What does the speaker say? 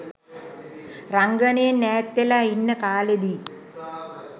රංගනයෙන් ඈත්වෙලා ඉන්න කාලෙදි